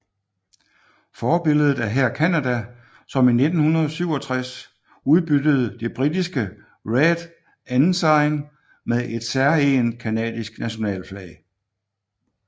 Forbilledet er her Canada som i 1967 udbyttede det britiske Red Ensign med et særegent canadisk nationalflag